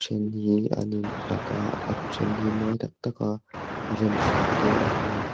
hi an in hlat a a then hi mawi tak tak a rem hran te an ni.